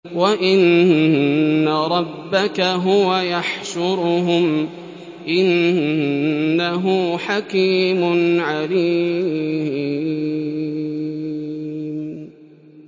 وَإِنَّ رَبَّكَ هُوَ يَحْشُرُهُمْ ۚ إِنَّهُ حَكِيمٌ عَلِيمٌ